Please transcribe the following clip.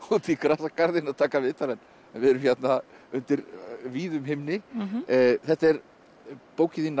í Grasagarðinn að taka viðtal en við erum hérna undir víðum himni þetta er bókin þín